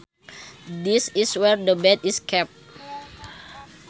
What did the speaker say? This is where the bed is kept